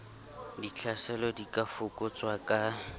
ditlhaselo di ka fokotswang ka